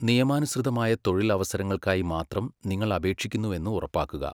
നിയമാനുസൃതമായ തൊഴിൽ അവസരങ്ങൾക്കായി മാത്രം നിങ്ങൾ അപേക്ഷിക്കുന്നുവെന്ന് ഉറപ്പാക്കുക.